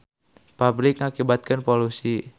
pabrik ngakibatkeun polusi